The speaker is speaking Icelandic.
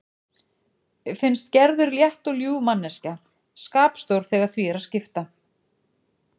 Finnst Gerður létt og ljúf manneskja- skapstór þegar því er að skipta.